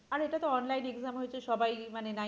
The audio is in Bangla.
আরে এটাতো online exam হয়েছে সবাই মানে ninety percent